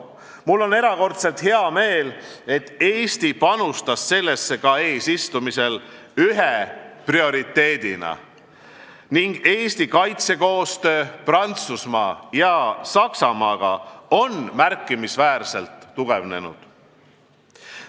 Mul on erakordselt hea meel, et Eesti panustas sellesse ka eesistumisel ühe prioriteedina ning Eesti kaitsekoostöö Prantsusmaa ja Saksamaaga on märkimisväärselt tugevnenud.